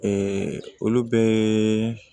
olu bɛɛ